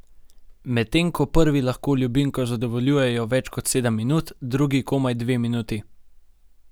Medtem ko prvi lahko ljubimko zadovoljujejo več kot sedem minut, drugi komaj dve minuti.